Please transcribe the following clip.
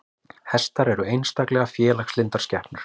Hestar eru einstaklega félagslyndar skepnur.